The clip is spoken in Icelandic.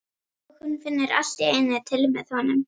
Og hún finnur allt í einu til með honum.